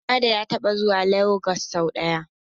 Hammada ya taɓa zuwa Lagos sau ɗaya.